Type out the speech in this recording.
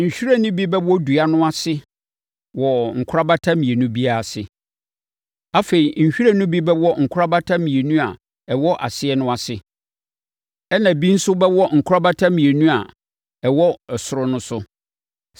Nhwiren no bi bɛwɔ ne dua no ase wɔ nkorabata mmienu biara ase. Afei, nhwiren no bi bɛwɔ nkorabata mmienu a ɛwɔ aseɛ no ase, ɛnna ebi nso bɛwɔ nkorabata mmienu a ɛwɔ ɔsoro no so.